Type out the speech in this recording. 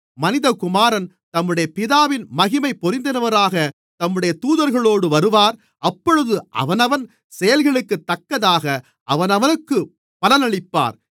மனிதகுமாரன் தம்முடைய பிதாவின் மகிமை பொருந்தினவராகத் தம்முடைய தூதர்களோடு வருவார் அப்பொழுது அவனவன் செயல்களுக்குத்தக்கதாக அவனவனுக்குப் பலனளிப்பார்